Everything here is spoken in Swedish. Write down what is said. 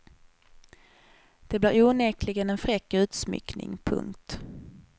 Det blir onekligen en fräck utsmyckning. punkt